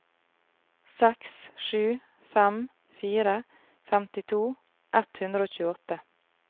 seks sju fem fire femtito ett hundre og tjueåtte